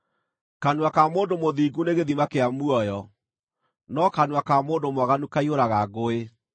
Kanua ka mũndũ mũthingu nĩ gĩthima kĩa muoyo, no kanua ka mũndũ mwaganu kaiyũraga ngũĩ.